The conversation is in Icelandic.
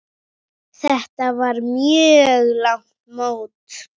Þetta var mjög langt mót.